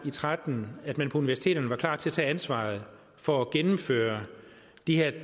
og tretten at man på universiteterne var klar til at tage ansvaret for at gennemføre de